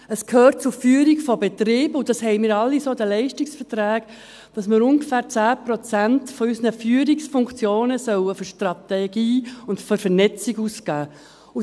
Es gehört zur Führung von Betrieben – und das haben wir alle so in den Leistungsverträgen –, dass man ungefähr 10 Prozent unserer Führungsfunktionen für Strategie und für Vernetzung ausgeben soll.